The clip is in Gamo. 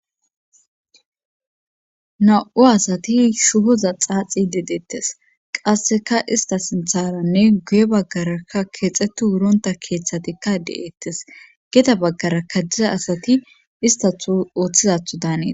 na7u asati shuhoza xaaxi de deettes qasseka ista sintharanne guye baggaraka keexetu wuronta keeththatikka deeettes geda baggara ka diza asati istatho ooththiza daanees